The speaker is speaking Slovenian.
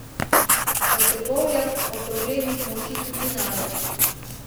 V Trbovljah o problemih molči tudi narod.